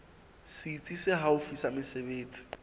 setsi se haufi sa mesebetsi